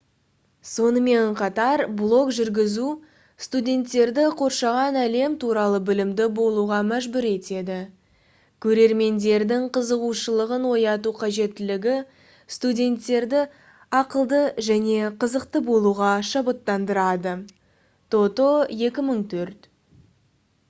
сонымен қатар блог жүргізу «студенттерді қоршаған әлем туралы білімді болуға мәжбүр етеді». көрермендердің қызығушылығын ояту қажеттілігі студенттерді ақылды және қызықты болуға шабыттандырады тото 2004